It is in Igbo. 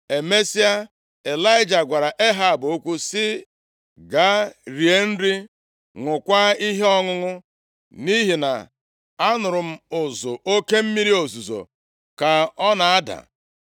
Emesịa, Ịlaịja gwara Ehab okwu sị, “Gaa rie nri, ṅụọkwa ihe ọṅụṅụ; nʼihi na anụrụ m ụzụ oke mmiri ozuzo ka ọ na-ada.”